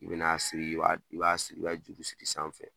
I bɛna siri i b'a i b'a siri , i b'a juru siri sanfɛ.